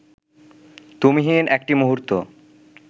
তুমিহীন একটি মুহূর্ত